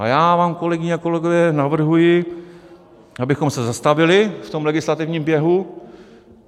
A já vám, kolegyně a kolegové, navrhuji, abychom se zastavili v tom legislativním běhu.